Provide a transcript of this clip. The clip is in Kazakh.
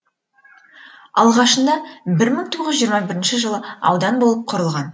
алғашында бір мың тоғыз жүз жиырма бірінші жылы аудан болып құрылған